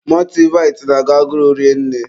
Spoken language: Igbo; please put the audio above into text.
Mọltịvaịtị na-agụ agụrụ rinne.